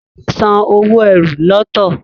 Tade sàn owo ẹ́rù lọtọ.